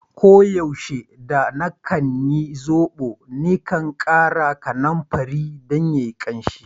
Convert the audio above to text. Ko yaushe da na kan yin zobo, ni kan kara kanumfari dan bashi kansi.